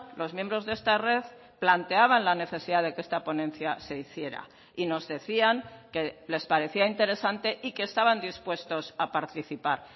los miembros de esta red planteaban la necesidad de que esta ponencia se hiciera y nos decían que les parecía interesante y que estaban dispuestos a participar